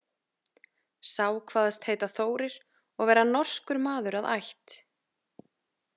Sá kvaðst heita Þórir og vera norskur maður að ætt.